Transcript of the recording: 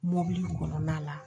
Mɔbili kɔnɔna la